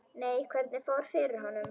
Nei, hvernig fór fyrir honum?